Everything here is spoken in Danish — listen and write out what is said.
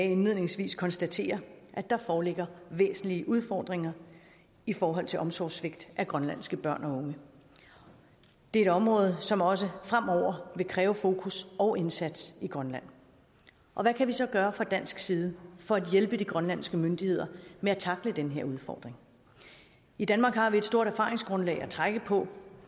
indledningsvis konstatere at der foreligger væsentlige udfordringer i forhold til omsorgssvigt af grønlandske børn og unge det er et område som også fremover vil kræve fokus og indsats i grønland og hvad kan vi så gøre fra dansk side for at hjælpe de grønlandske myndigheder med at tackle den her udfordring i danmark har vi et stort erfaringsgrundlag at trække på